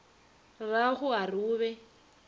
rrago a re o be